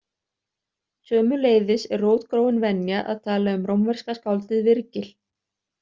Sömuleiðis er rótgróin venja að tala um rómverska skáldið Virgil.